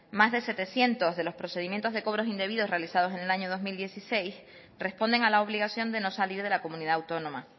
más de setecientos de los procedimientos de cobros indebidos realizados en el año dos mil dieciséis responden a la obligación de no salir de la comunidad autónoma